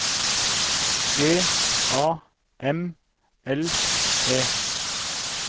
G A M L E